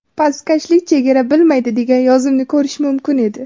Pastkashlik chegara bilmaydi”, degan yozuvni ko‘rish mumkin edi.